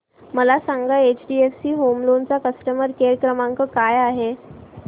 मला सांगा HDFC home loan चा कस्टमर केअर क्रमांक काय आहे